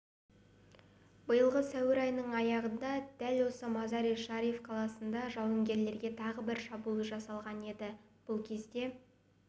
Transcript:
биылғы сәуір айының аяғында дәл осы мазари-шариф қаласында жауынгерлерге тағы бір шабуыл жасалған еді ол кезде